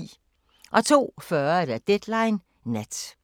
02:40: Deadline Nat